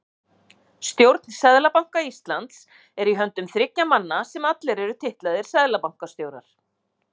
Stjórn Seðlabanka Íslands er í höndum þriggja manna sem allir eru titlaðir seðlabankastjórar.